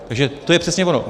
Takže to je přesně ono.